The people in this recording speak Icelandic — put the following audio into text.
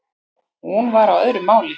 Hún var á öðru máli.